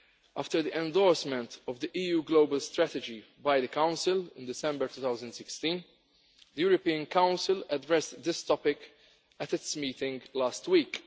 After the endorsement of the EU Global Strategy by the Council in December 2016, the European Council addressed this topic at its meeting last week.